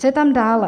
Co je tam dále?